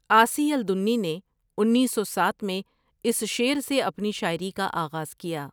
آسی الدنی نے انیس سو ساتھ میں اس شعر سے اپنی شاعری کا آغاز کیا؀ ۔